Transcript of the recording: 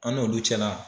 An n'olu cɛla